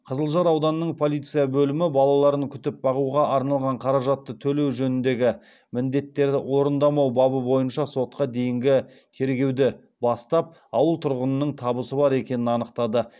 қызылжар ауданының полиция бөлімі балаларын күтіп бағуға арналған қаражатты төлеу жөніндегі міндеттерді орындамау бабы бойынша сотқа дейінгі тергеуді бастап ауыл тұрғынының табысы бар екенін анықтады